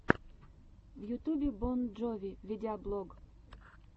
в ютубе бон джови видеоблог